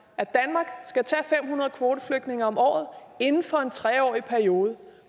at danmark skal tage fem hundrede kvoteflygtninge om året inden for en tre årig periode